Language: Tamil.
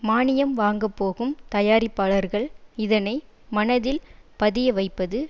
மானியம் வாங்கப்போகும் தயாரிப்பாளர்கள் இதனை மனதில் பதிய வைப்பது